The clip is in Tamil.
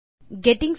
hello friends